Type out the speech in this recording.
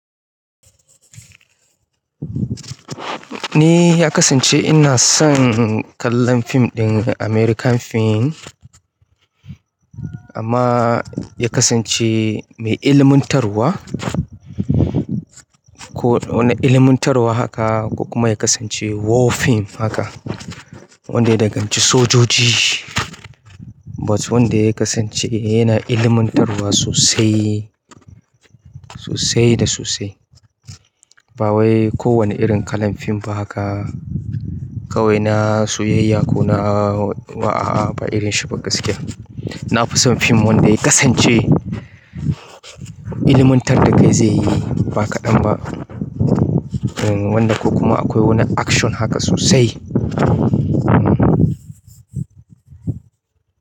Ni ya kasance ina son kallon fim ɗin American film, amma ya kasance mai ilmantar wa ko wani ilimantarwa haka ko kuma ya kasance war film haka, wanda ya danganci sojoji, but wanda ya kasance yana ilimantarwa sosai, sosai da sosai. Ba wai ko wani irin kalan fim ba haka kawai na soyayya ko na a'a ba irin shi ba gaskiya na fi son fim wanda ya kasance ilimantar da kai zai yi ba kaɗan ba. Eh, wanda ko kuma akwai wani action haka sosai.